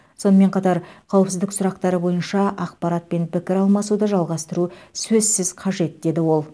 сонымен қатар қауіпсіздік сұрақтары бойынша ақпарат пен пікір алмасуды жалғастыру сөзсіз қажет деді ол